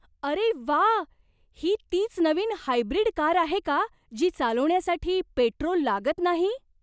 अरे व्वा! ही तीच नवीन हायब्रिड कार आहे का जी चालवण्यासाठी पेट्रोल लागत नाही?